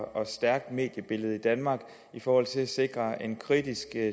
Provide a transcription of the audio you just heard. stærkt mediebillede i danmark i forhold til at sikre en kritisk